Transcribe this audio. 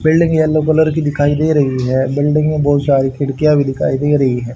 Building yellow colour की दिखाई दे रही है बिल्डिंग में बहुत सारी खिड़कियां भी दिखाई दे रही हैं।